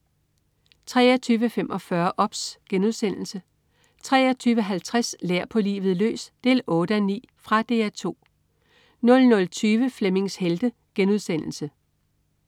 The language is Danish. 23.45 OBS* 23.50 Lær på livet løs 8:9. Fra DR 2 00.20 Flemmings Helte*